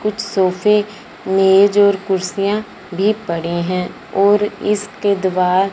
कुछ सोफे मेज और कुर्सियां भी पड़ी है और इसके द्वार--